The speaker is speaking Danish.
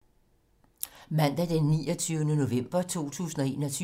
Mandag d. 29. november 2021